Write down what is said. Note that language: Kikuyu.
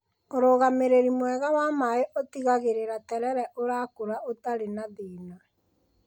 Ũrũgamĩrĩri mwega wa maaĩ ũtigagĩrĩra terere ũrakũra ũtari na thina.